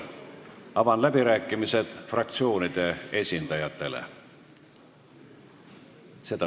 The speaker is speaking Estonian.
Avan fraktsioonide esindajate läbirääkimised.